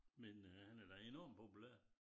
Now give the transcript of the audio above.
Men øh han er da enormt populær